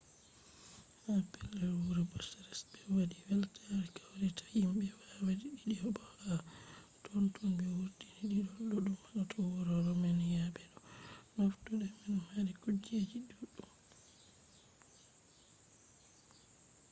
ha pellel wuro bucharest ɓe waɗi weltare kawrita himɓe waawi diidi bo ha totton ɓe wurtini didol boɗɗum hoto wuro romeniya be bo no fattude man mari kujeji ɗuɗɗum